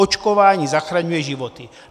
Očkování zachraňuje životy.